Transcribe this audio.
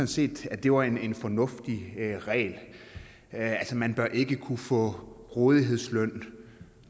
set at det var en fornuftig regel altså man bør ikke kunne få rådighedsløn